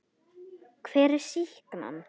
Edda: Hver er sýknan?